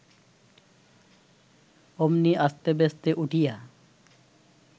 অমনি আস্তেব্যস্তে উঠিয়া